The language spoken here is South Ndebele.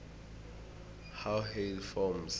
how hail forms